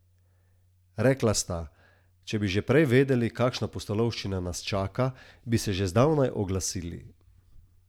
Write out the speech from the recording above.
Rekla sta: "Če bi že prej vedeli, kakšna pustolovščina nas čaka, bi se že zdavnaj oglasili".